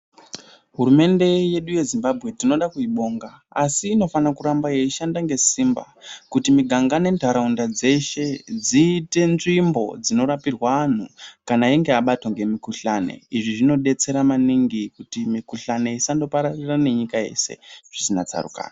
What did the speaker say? Hurumende yedu yezimbambwe tinoda kuibonga asi inofana kuramba yeishanda ngesimba kuti miganga nentaraunda dzeshe dziite nzvimbo dzinorapirwa antu kana einge abatwa ngemikuhlani. Izvi zvinobetsera maningi kuti mikuhlani isandopararira nenyika yeshe zvisina tsarukano.